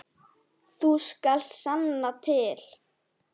Þú skalt sanna til.